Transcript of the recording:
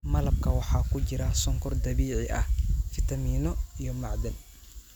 Malabka waxaa ku jira sonkor dabiici ah, fitamiino, iyo macdan